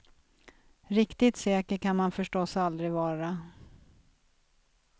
Riktigt säker kan man förstås aldrig vara.